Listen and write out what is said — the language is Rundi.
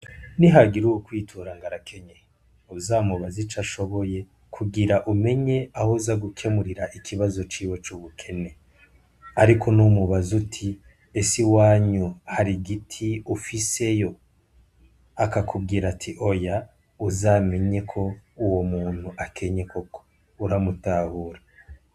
Ni hagira uwu kwitura ngarakenye uzamubazi ico ashoboye kugira umenye aho za gukemurira ikibazo ciwe c'ubukene, ariko n'umubazi uti ese iwanyu hari igiti ufiseyo akakubwira ati oya uzamenye ko uwo muntu akenye koko uramutahura.